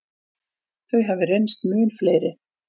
Þau hafi reynst mun fleiri.